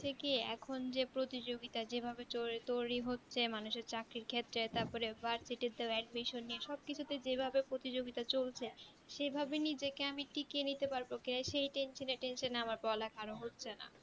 ঠিকই এখুন যে প্রতিযোগিতা যে ভাবে চল তৈরী হচ্ছে মানুষের চাকরির ক্ষেত্রে তারপরে virsity তো admission নিয়ে সব কিছু নিয়ে যেই ভাবে প্রতিযোগিতা চলছে সেই ভাবে আমি নিজেকে টিকিয়ে নিতে পারবো কেন সেই tension এ tension এ আমার পড়া লেখা আরও হচ্ছে না